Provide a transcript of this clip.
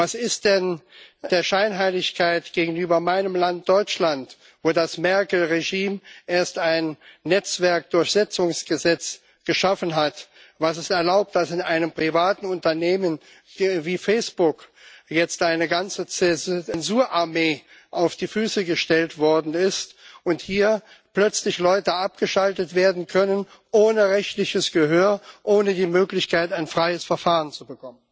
Was ist denn mit der Scheinheiligkeit gegenüber meinem Land, Deutschland, wo das Merkel Regime erst ein Netzwerkdurchsetzungsgesetz geschaffen hat, das es erlaubt, dass in einem privaten Unternehmen wie Facebook jetzt eine ganze Zensurarmee auf die Füße gestellt worden ist und hier plötzlich Leute abgeschaltet werden können ohne rechtliches Gehör, ohne die Möglichkeit, ein freies Verfahren zu bekommen?